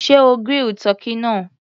Sé o grill tọ́kì náà?